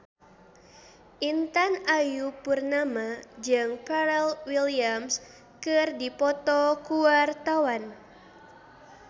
Intan Ayu Purnama jeung Pharrell Williams keur dipoto ku wartawan